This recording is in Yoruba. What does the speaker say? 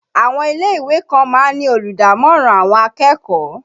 Àwọn ilé ìwé kan máa ń ní olùdámọ̀ràn àwọn akẹ́kọ̀ọ́